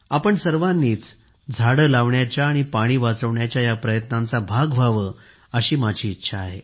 आपण सर्वांनीच झाडे लावण्याच्या आणि पाणी वाचवण्याच्या या प्रयत्नांचा भाग व्हावे अशी माझी इच्छा आहे